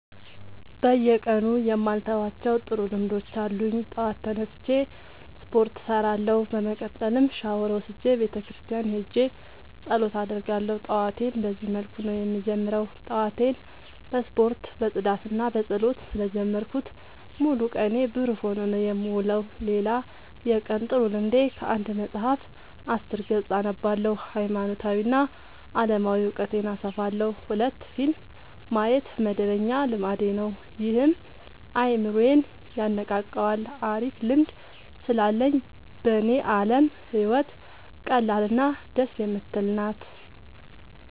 በየቀኑ የማልተዋቸው ጥሩ ልምዶች አሉኝ ጠዋት ተነስቼ ስፓርት እሰራለሁ። በመቀጠልም ሻውር ወስጄ ቤተክርስቲያን ሄጄ ፀሎት አደርጋለሁ ጠዋቴን በዚህ መልኩ ነው የምጀምረው። ጠዋቴን በስፖርት በፅዳትና በፀሎት ስለ ጀመርኩት ሙሉ ቀኔ ብሩህ ሆኖ ነው የምውለው። ሌላ የቀን ጥሩ ልምዴ ከአንድ መፀሀፍ አስር ገፅ አነባለሁ ሀይማኖታዊ እና አለማዊ እውቀቴን አሰፋለሁ። ሁለት ፊልም ማየት መደበኛ ልማዴ ነው ይህም አይምሮዬን የነቃቃዋል አሪፍ ልምድ ስላለኝ በኔ አለም ህይወት ቀላል እና ደስ የምትል ናት።